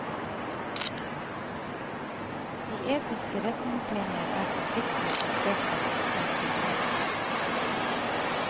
De etiske retningslinjer er forpliktende for presse og etermedier.